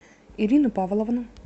ирину павловну